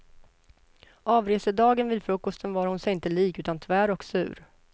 Avresedagen vid frukosten var hon inte sig lik utan tvär och sur.